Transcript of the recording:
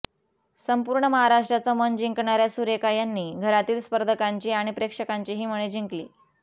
संपूर्ण महाराष्ट्राचं मन जिंकणाऱ्या सुरेखा यांनी घरातील स्पर्धकांची आणि प्रेक्षकांचीही मने जिंकली